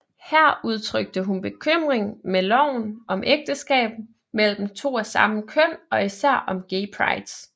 Her udtrykte hun bekymring med loven om ægteskab mellem to af samme køn og især om Gay Prides